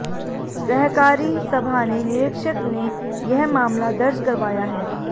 सहकारी सभा ने निरीक्षक ने यह मामला दर्ज करवाया है